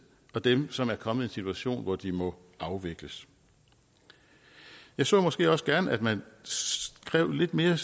og dem som er kommet i en situation hvor de må afvikles jeg så måske også gerne at man skrev lidt mere